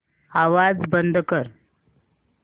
आवाज बंद कर